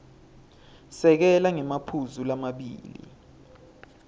sekela ngemaphuzu lamabili